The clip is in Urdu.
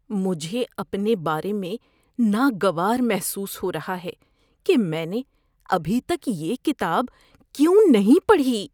مجھے اپنے بارے میں ناگوار محسوس ہو رہا ہے کہ میں نے ابھی تک یہ کتاب کیوں نہیں پڑھی۔